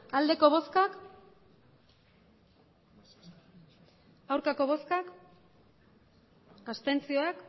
emandako botoak hirurogeita